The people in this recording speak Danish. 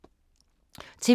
TV 2